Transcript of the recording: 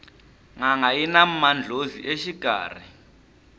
nanga yina mandlhozi exikarhi